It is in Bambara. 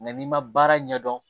Nka n'i ma baara ɲɛdɔn